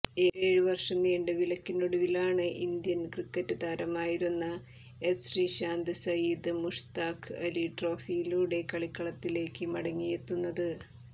ഏഴ് വർഷം നീണ്ട വിലക്കിനൊടുവിലാണ് ഇന്ത്യൻ ക്രിക്കറ്റ് താരമായിരുന്ന എസ് ശ്രീശാന്ത് സയ്യിദ് മുഷ്താഖ് അലി ട്രോഫിയിലൂടെ കളിക്കളത്തിലേക്ക് മടങ്ങിയെത്തുന്നത്